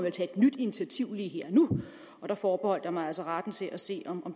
et nyt initiativ lige her og nu der forbeholdt jeg mig altså retten til at se om